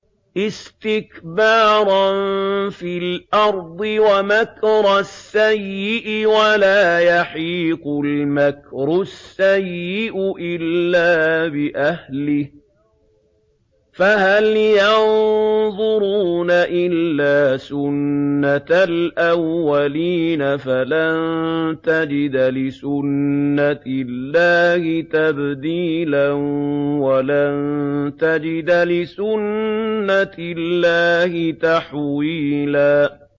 اسْتِكْبَارًا فِي الْأَرْضِ وَمَكْرَ السَّيِّئِ ۚ وَلَا يَحِيقُ الْمَكْرُ السَّيِّئُ إِلَّا بِأَهْلِهِ ۚ فَهَلْ يَنظُرُونَ إِلَّا سُنَّتَ الْأَوَّلِينَ ۚ فَلَن تَجِدَ لِسُنَّتِ اللَّهِ تَبْدِيلًا ۖ وَلَن تَجِدَ لِسُنَّتِ اللَّهِ تَحْوِيلًا